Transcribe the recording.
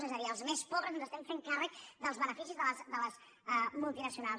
és a dir els més pobres ens estem fent càrrec dels beneficis de les multinacionals